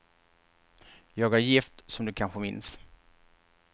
Jag är gift, som du kanske minns.